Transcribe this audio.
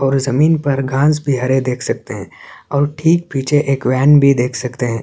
और इस जमीन पर घास भी हरे देख सकते है और ठीक पीछे वेन भी देख सकते है।